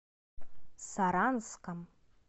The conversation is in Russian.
саранском